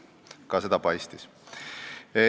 Ka seda paistis.